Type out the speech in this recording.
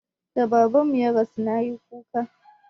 Da Babanmu ya rasu na yi kuka.